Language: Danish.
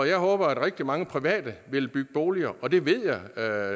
jeg håber at rigtig mange private vil bygge boliger og det ved jeg at